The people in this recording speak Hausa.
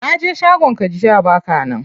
Naje shagon ka jiya baka nan.